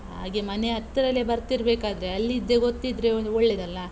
ಹಾಗೆ ಮನೆ ಹತ್ರಲೇ ಬರ್ತಿರಬೇಕಾದ್ರೆ, ಅಲ್ಲಿದೆ ಗೊತ್ತಿದ್ರೆ ಒಂದ್ ಒಳ್ಳೇದಲ್ಲ.